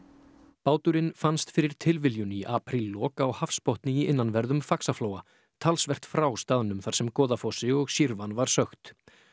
báturinn fannst fyrir tilviljun í apríllok á hafsbotni í innanverðum Faxaflóa talsvert frá staðnum þar sem Goðafossi og var sökkt